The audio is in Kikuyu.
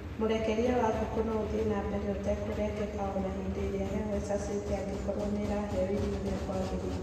Mũrekerie wa ngũkũ no ũthiĩ na mbere ũtekũrengeka o na hĩndĩ ĩrĩa heho ĩcacĩte angĩkorwo nĩ iraheo irio ũrĩa kwagĩrĩire.